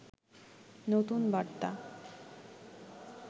নতুন বার্তা